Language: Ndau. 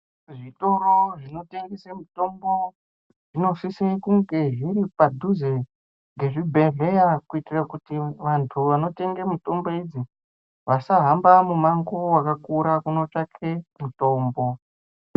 Zvitoro zvinotengese mitombo zvinosise kunge zviri padhuze ngezvibhedhleya kuitira kuti vantu vanotenge mitombo idzi vasahambe mumango wakakura kotsvake mitombo.